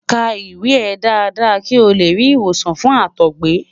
ka iwe e dada ki o le ri iwosan fun àtọgbẹ